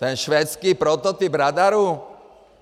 Ten švédský prototyp radaru?